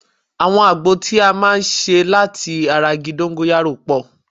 Àwọn àgbo tí a máa ń ṣe láti ara igi dóńgóyárò pọ̀